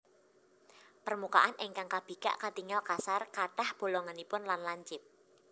Permukaan ingkang kabikak katingal kasar kathah bolonganipun lan lancip